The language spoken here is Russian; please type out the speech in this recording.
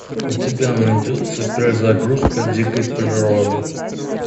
у тебя найдется перезагрузка дикой природы